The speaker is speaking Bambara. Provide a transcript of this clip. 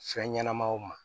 Fɛn ɲɛnɛmaw ma